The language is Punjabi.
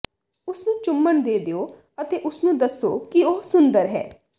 ਉਸਨੂੰ ਚੁੰਮਣ ਦੇ ਦਿਓ ਅਤੇ ਉਸਨੂੰ ਦੱਸੋ ਕਿ ਉਹ ਸੁੰਦਰ ਹੈ